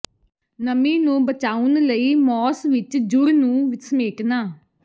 ਨਮੀ ਨੂੰ ਬਚਾਉਣ ਲਈ ਮੌਸ ਵਿੱਚ ਜੂੜ ਨੂੰ ਸਮੇਟਣਾ